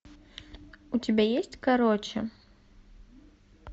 у тебя есть короче